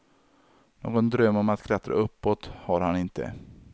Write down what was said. Någon dröm om att klättra uppåt har han inte.